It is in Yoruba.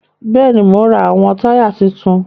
Bẹẹni, Mo n ra awọn taya tuntun